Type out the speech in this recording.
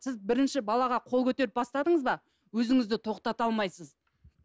сіз бірінші балаға қол көтеріп бастадыңыз ба өзіңізді тоқтата алмайсыз